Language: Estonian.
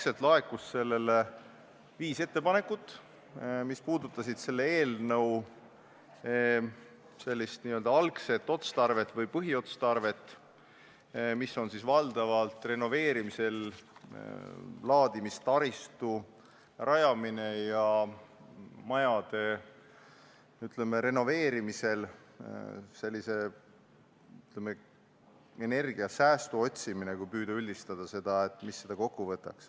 Esialgu laekus selle kohta viis ettepanekut, mis puudutasid selle eelnõu n-ö algset või põhiotstarvet, milleks on valdavalt renoveerimisel laadimistaristu rajamine ja majade renoveerimisel energiasäästu otsimine – kui püüda üldistada.